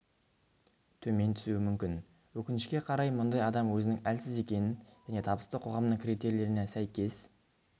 төмен түсуі мүмкін өкінішке қарай мұндай адам өзінің әлсіз екенін және табысты қоғамның критерийлеріне сәйкес